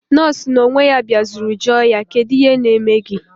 Nọọsụ na onwe ya biazuru joo ya: Kedu ihe na eme gi?